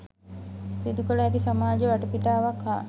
සිදුකළ හැකි සමාජ වටපිටාවක් හා